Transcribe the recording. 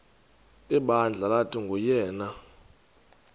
ibandla lathi nguyena